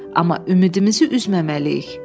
Amma ümidimizi üzməməliyik.